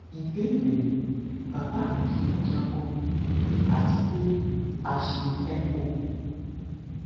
ìbéèrè baba mi ṣubu daku ati pe a ṣe echo